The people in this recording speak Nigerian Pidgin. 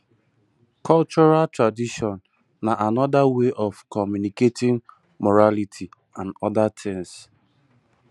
cultural tradition na anoda wey of communicating morality and oda things